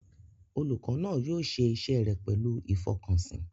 Olùkọ́ náà yóò ṣe iṣẹ́ rẹ̀ pẹ̀lú ìfọkànsìn.